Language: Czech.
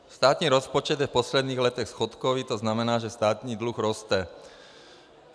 Státní rozpočet je v posledních letech schodkový, to znamená, že státní dluh roste.